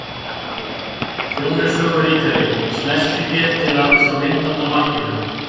Sjón er sögu ríkari. Smelltu hér til að sjá myndband af markinu